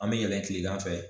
An mɛ yɛlɛn kilegan fɛ